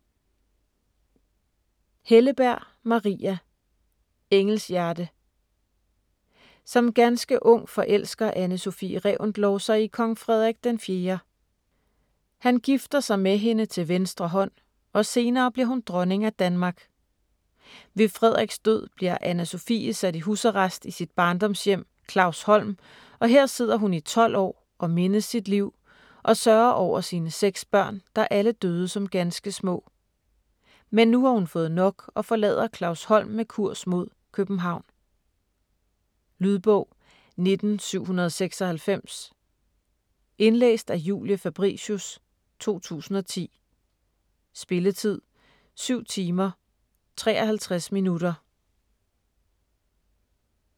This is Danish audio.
Helleberg, Maria: Engelshjerte Som ganske ung forelsker Anne Sophie Reventlow sig i kong Frederik IV. Han gifter sig med hende til venstre hånd, og senere bliver hun dronning af Danmark. Ved Frederiks død bliver Anna Sophie sat i husarrest i sit barndomshjem Clausholm, og her sidder hun i tolv år og mindes sit liv og sørger over sine seks børn, der alle døde som ganske små. Men nu har hun fået nok og forlader Clausholm med kurs mod København. Lydbog 19796 Indlæst af Julie Fabricius, 2010. Spilletid: 7 timer, 53 minutter.